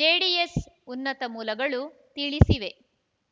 JDS ಉನ್ನತ ಮೂಲಗಳು ತಿಳಿಸಿವೆ